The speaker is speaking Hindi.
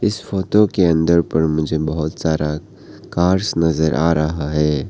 इस फोटो के अंदर पर मुझे बहुत सारा कार्स नजर आ रहा है।